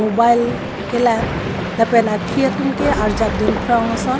mobile kelang lapen aphi atum ke arjab dun phrong ason.